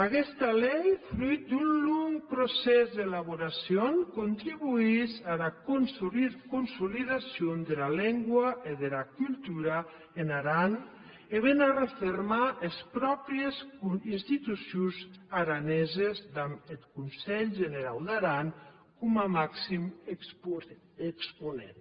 aguesta lei frut d’un long procès d’elaboracion contribuís ara consolidacion dera lengua e dera cultura en aran e ven a refermar es pròpries institucions araneses damb eth conselh generau d’aran coma maxim exponent